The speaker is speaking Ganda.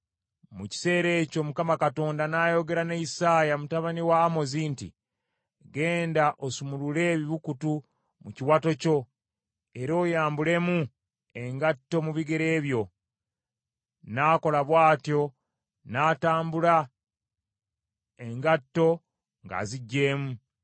mu kiseera ekyo Mukama Katonda n’ayogera ne Isaaya mutabani wa Amozi nti, “Genda osumulule ebibukutu mu kiwato kyo era oyambulemu engatto mu bigere byo.” N’akola bw’atyo n’atambula engatto ng’aziggyemu.